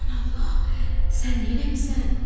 Aman Allah, sən neyləmisən?